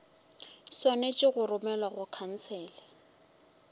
swanetše go romelwa go khansele